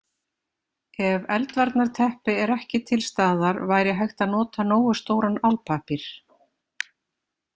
Ef eldvarnarteppi er ekki til staðar væri hægt að nota nógu stóran álpappír.